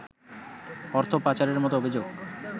অর্থ পাচারের মতো অভিযোগ